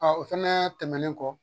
o fɛnɛɛ tɛmɛlen kɔ